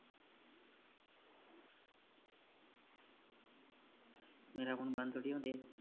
ਮੇਰਾ phone ਬੰਦ ਥੋੜੀ ਹੋਣ ਦਿਆ